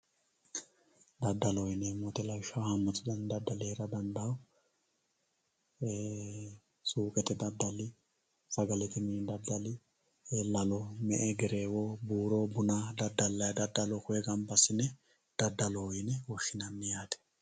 daddaloho yineemmo woyiite lawishshaho haammatu dani daddali heera dandiitanno suuqete daddali sagalete mini daddali me"e. gereewo buuro buna daddallayii daddalo koyee baala ganba assine daddaloho yine woshshinanni yaate